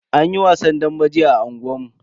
Anyi wasan dambe jiya a unguwan mu.